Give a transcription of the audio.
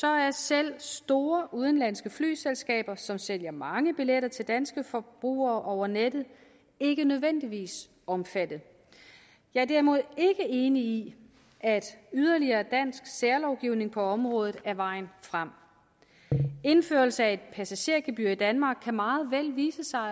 er selv store udenlandske flyselskaber som sælger mange billetter til danske forbrugere over nettet ikke nødvendigvis omfattet jeg er derimod ikke enig i at yderligere dansk særlovgivning på området er vejen frem indførelse af et passagergebyr i danmark kan meget vel vise sig